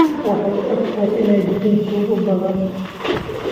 Waxay u egtahay inay jiraan tuugo badan